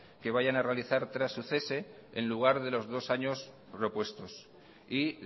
que vayan a realizar tras su cese en lugar de los dos años propuestos y